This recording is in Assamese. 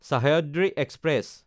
চাহ্যাদ্ৰি এক্সপ্ৰেছ